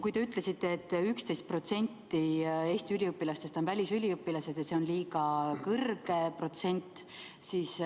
Te ütlesite, et 11% Eesti üliõpilastest on välisüliõpilased ja see on liiga kõrge protsent.